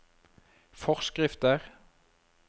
forskrifter